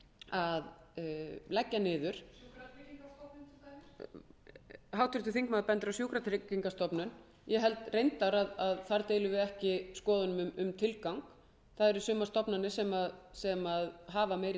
að leggja niður sjúkratryggingastofnun til dæmis háttvirtur þingmaður bendir á sjúkratryggingastofnun ég held reyndar að þar deilum við ekki skoðunum um tilgang sumar stofnanir hafa meiri tilgang en aðrar og